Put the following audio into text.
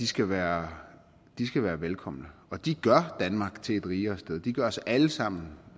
skal være skal være velkomne og de gør danmark til et rigere sted og de gør os alle sammen